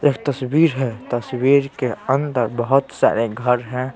एक तस्वीर हैं तस्वीर के अंदर बहुत सारे घर हैं।